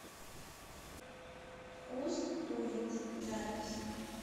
вкус улиц запись